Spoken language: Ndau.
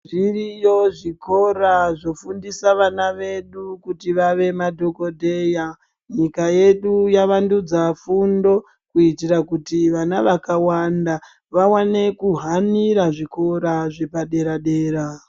Zviriyo zvikora zvofundisa vana vedu kuti vave madhokodheya nyika yedu yavandudza fundo kuitira kuti vana vakawanda vawane kuhanira zvikora zvepadera dera.